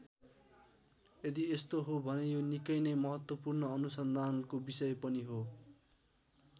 यदि यस्तो हो भने यो निकै नै महत्त्वपूर्ण अनुसन्धानको विषय पनि हो।